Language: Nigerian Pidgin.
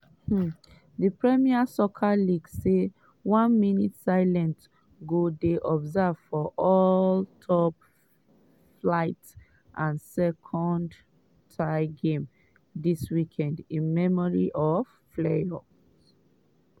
um di premier soccer league say one minute silence go dey observed for all top-flight and second-tier games dis weekend in memory of fleurs.